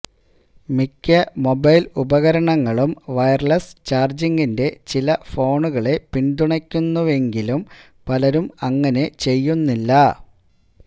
മിക്ക മൊബൈൽ ഉപകരണങ്ങളും വയർലെസ്സ് ചാർജ്ജിങ്ങിന്റെ ചില ഫോണുകളെ പിന്തുണയ്ക്കുന്നുവെങ്കിലും പലരും അങ്ങനെ ചെയ്യുന്നില്ല